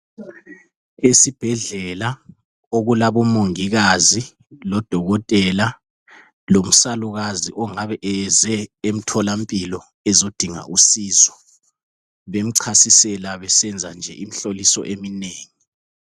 Esibhedlela okulabomongikazi lodokotela lomsalukazi ongabe eze emtholampilo ezodinga usizo bemchasisela besenza nje imihloliso eminengi.